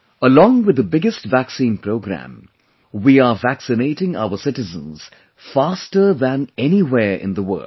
Along with the biggest Vaccine Programme, we are vaccinating our citizens faster than anywhere in the world